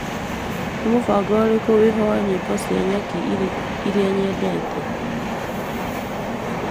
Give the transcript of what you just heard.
Nĩ mũbango ũrĩkũ wĩho wa nyĩmbo cia nyaki iria nyedete.